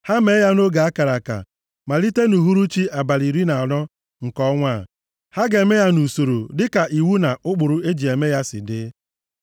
Ha mee ya nʼoge a kara aka, malite nʼuhuruchi abalị iri na anọ nke ọnwa a. Ha ga-eme ya nʼusoro dịka iwu na ụkpụrụ e ji eme ya si dị.”